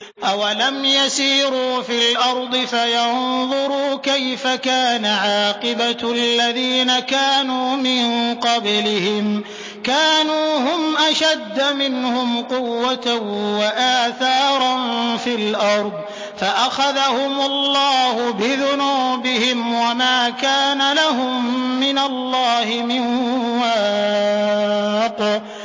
۞ أَوَلَمْ يَسِيرُوا فِي الْأَرْضِ فَيَنظُرُوا كَيْفَ كَانَ عَاقِبَةُ الَّذِينَ كَانُوا مِن قَبْلِهِمْ ۚ كَانُوا هُمْ أَشَدَّ مِنْهُمْ قُوَّةً وَآثَارًا فِي الْأَرْضِ فَأَخَذَهُمُ اللَّهُ بِذُنُوبِهِمْ وَمَا كَانَ لَهُم مِّنَ اللَّهِ مِن وَاقٍ